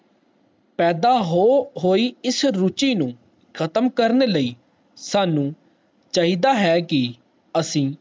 ਪੈਦਾ ਹੋਇ ਇਸ ਰੁਚੀ ਨੂੰ ਕਮ ਕਰਨ ਲਈ ਸਾਨੂ ਚਾਹੀਦਾ ਹੈ ਕਿ ਅਸੀਂ